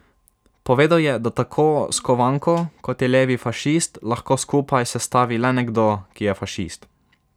Povedal je, da tako skovanko, kot je levi fašist lahko skupaj sestavi le nekdo, ki je fašist.